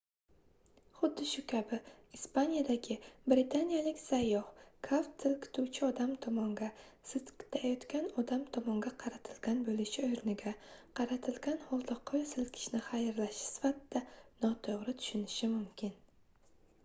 xuddu shu kabi ispaniyadagi britaniyalik sayyoh kaft silkituvchi odam tomonga silkitilayotgan odam tomonga qaratilgan bo'lishi o'rniga qaratilgan holda qo'l silkitishni xayrlashish sifatida noto'g'ri tushunishi mumkin